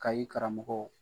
Kayi karamɔgɔ